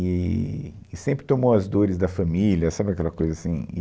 Eee, e sempre tomou as dores da família, sabe aquela coisa assim?